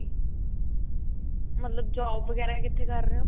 ਮਤਲਬ job ਵਗੈਰਾ ਕਿੱਥੇ ਕਰ ਰਹੇ ਹੋ?